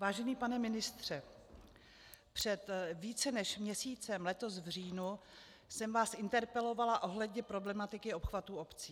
Vážený pane ministře, před více než měsícem, letos v říjnu, jsem vás interpelovala ohledně problematiky obchvatu obcí.